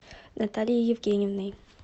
натальей евгеньевной